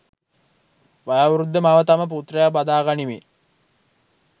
වයෝවෘද්ධ මව තම පුත්‍රයා බදා ගනිමින්